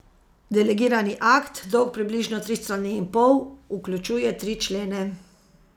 Delegirani akt, dolg približno tri strani in pol, vključuje tri člene.